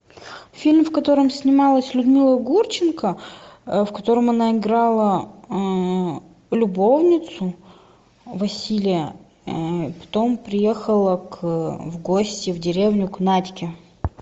фильм в котором снималась людмила гурченко в котором она играла любовницу василия потом приехала в гости в деревню к надьке